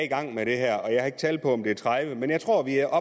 i gang med det her og jeg har ikke tal på om det er tredive men jeg tror vi er